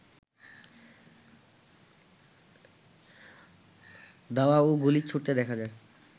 ধাওয়া ও গুলি ছুড়তে দেখা যায়